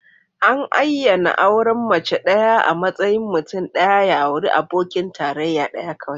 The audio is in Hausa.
An ayyana auren mace ɗaya a matsayin mutum ɗaya ya auri abokin tarayya ɗaya kawai.